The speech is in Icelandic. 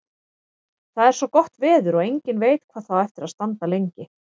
Það er svo gott veður og enginn veit hvað það á eftir að standa lengi.